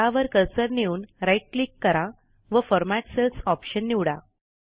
त्यावर कर्सर नेऊन right click करा व फॉर्मॅट सेल्स ऑप्शन निवडा